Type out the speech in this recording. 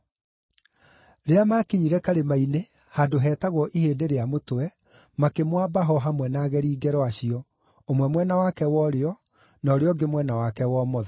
Rĩrĩa maakinyire karĩma-inĩ handũ heetagwo Ihĩndĩ-rĩa-Mũtwe, makĩmwamba ho hamwe na ageri ngero acio, ũmwe mwena wake wa ũrĩo, na ũrĩa ũngĩ mwena wake wa ũmotho.